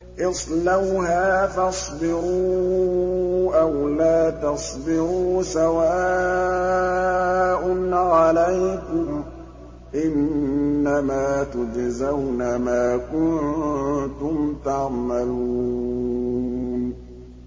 اصْلَوْهَا فَاصْبِرُوا أَوْ لَا تَصْبِرُوا سَوَاءٌ عَلَيْكُمْ ۖ إِنَّمَا تُجْزَوْنَ مَا كُنتُمْ تَعْمَلُونَ